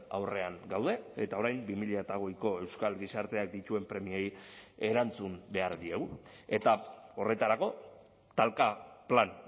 aurrean gaude eta orain bi mila hogeiko euskal gizarteak dituen premiei erantzun behar diegu eta horretarako talka plan